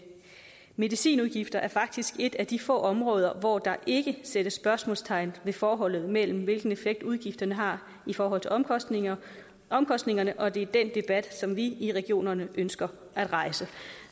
medicinudgifter er faktisk et af de få områder hvor der ikke sættes spørgsmålstegn ved forholdet mellem hvilken effekt udgifterne har i forhold til omkostningerne omkostningerne og det er dén debat som vi i regionerne ønsker at rejse